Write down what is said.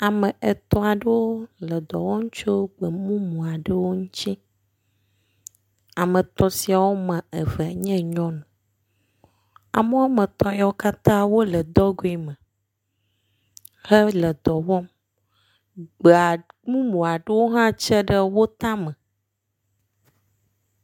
Ame etɔ̃ aɖewo le dɔ wɔm tso gbemumu aɖewo ŋutsi. Ame etɔ̃ siawo wɔme eve nye nyɔnu. Ame wɔme etɔ̃ yawo katã wo le dɔgɔe me hele dɔ wɔm. Gbea mumu aɖewo hã tse ɖe wo tame.